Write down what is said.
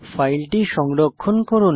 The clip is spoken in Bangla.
ফাইলটি সংরক্ষণ করুন